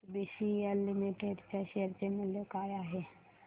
आज BCL limited च्या share चे मूल्य काय आहे